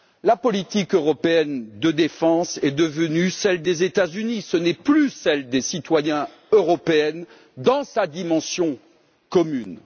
La politique européenne de défense est devenue celle des États Unis, ce n'est plus celle des citoyens européens dans sa dimension commune.